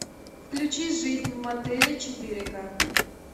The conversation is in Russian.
включи жизнь в мотеле четыре ка